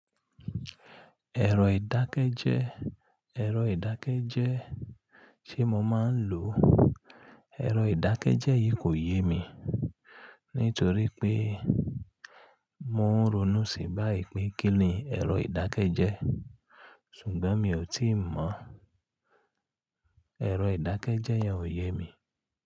Ẹ̀rọ ìdákẹ́jẹ́, ẹ̀rọ ìdákẹ́jẹ́ tí mo máa ń lò, ẹ̀rọ ìdákẹ́jẹ́ yìí kò yé mi nítorí pé mò ń ronú sí bá ìpè kí ni ẹ̀rọ ìdákẹ́jẹ́, ṣùgbọ́n mi ò tíì mọ̀. Ẹ̀rọ ìdákẹ́jẹ́ yẹn ò yé mi.